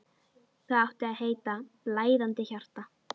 Það átti að heita: Blæðandi hjarta.